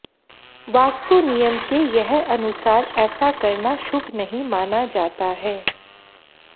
वास्तु नियम के यह अनुसार ऐसा करना शुभ नहीं माना जाता है